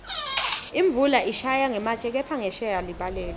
imvula ishaya ngematje kepha ngensheya libalele